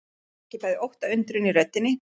Hún merkir bæði ótta og undrun í röddinni.